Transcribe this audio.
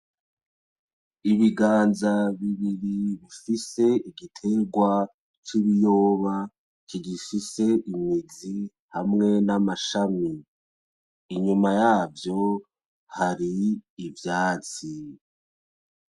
Ibiganza bibiri bifise igitegwa c'ibiyoba kigifise imizi hamwe n'amashami, inyuma yavyo hari ivyatsi.